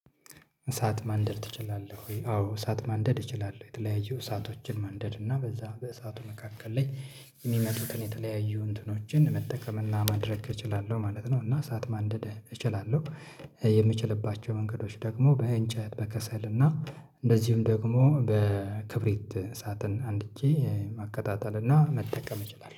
እሳት ማንደድ ትችላለህ ወይ? አዎ እሳት ማንደድ እችላለሁ። የተለያዩ እሳቶችን ማንደድ እና በዛ በእሳቱ መካከል ላይ የሚመጡትን የተለያዩ እንትኖችን መጠቀምና ማድረግ እችላለሁ ማለት ነው እና ሰዓት ማንደድ እችላለሁ የምችልባቸው መንገዶች ደግሞ በእንጨት በከሰል እና እንደዚህም ደግሞ በክብሪት ሰዓትን አንድጄ ማቀጣጠል እና መጠቀም እችላለሁ